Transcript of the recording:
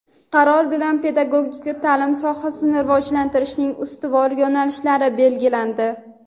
Qaror bilan pedagogika taʼlim sohasini rivojlantirishning ustuvor yo‘nalishlari belgilandi.